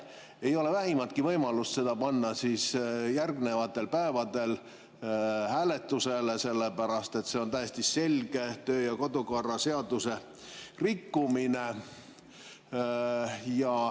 Ei ole vähimatki võimalust seda panna järgnevatel päevadel hääletusele, see oleks täiesti selge töö- ja kodukorra seaduse rikkumine.